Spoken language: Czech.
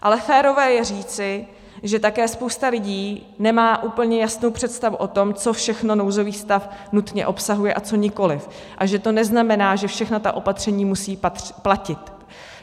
Ale férové je říci, že také spousta lidí nemá úplně jasnou představu o tom, co všechno nouzový stav nutně obsahuje a co nikoli, a že to neznamená, že všechna ta opatření musí platit.